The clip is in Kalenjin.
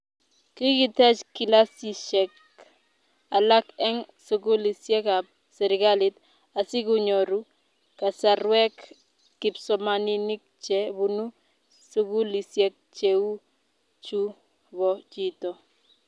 kikitech kilasisiek alak eng' sukulisiekab serikali asikunyoru kasarwek kipsomaninik che bunu sukulisiek cheu chu bo chito